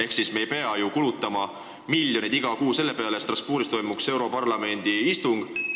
Samas ei pea ju kulutama miljoneid iga kuu näiteks selle peale, et pidada europarlamendi istung Strasbourgis.